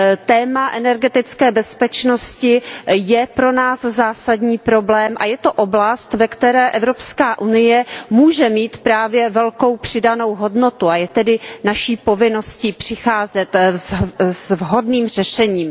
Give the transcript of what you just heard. Téma energetické bezpečnosti je pro nás zásadní problém a je to oblast, ve které EU může mít právě velkou přidanou hodnotu, a je tedy naší povinností přicházet s vhodným řešením.